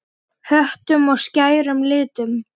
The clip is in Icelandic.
Höttum og skærum litum.